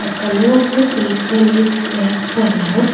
colour of the vehicle is red colour.